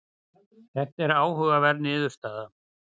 Þetta er áhugaverð niðurstaða.